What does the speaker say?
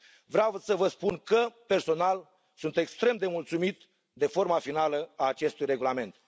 Vreau să vă spun că, personal, sunt extrem de mulțumit de forma finală a acestui regulament.